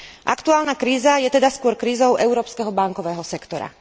Aktuálna kríza je teda skôr krízou európskeho bankového sektora.